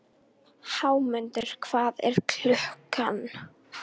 Jarðvarmavirkjanir nýta alltaf með borunum margfalt hið náttúrlega orkustreymi til yfirborðs.